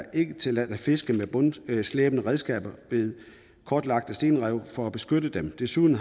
ikke tilladt at fiske med bundslæbende redskaber ved kortlagte stenrev for at beskytte dem desuden